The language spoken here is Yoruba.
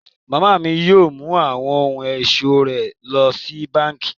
Mama mi yóò mú awọn ohun-ọṣọ rẹ lọ sí bánkì.